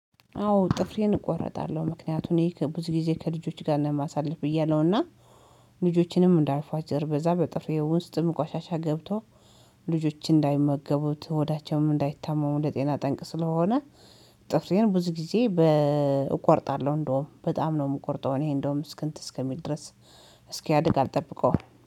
አዎ ጥፍሬን እቆረጣለሁ። ምክንያቱን እኔ ብዙ ጊዜ ከልጆች ጋር እማሳለፍ ብዬ አለውና ልጆቼንም እንዳልቧጭር በዛ በጥፍሬ ውስጥ ቆሻሻ ገብቶ ልጆችን እንዳይመገቡት ሆዳቸውም እንዳይታመሙ ለጤና ጠንቅ ስለሆነ። ጥፍሬን ብዙ ጊዜ እቆርጣለሁ። እንደውም በጣም ነው የምቆርጠው እኔ እንደውም እስክንት እስኪል ድረስ እስኪያድግ አልጠብቀውም።